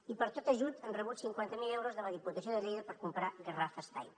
i per tot ajut han rebut cinquanta mil euros de la diputació de lleida per comprar garrafes d’aigua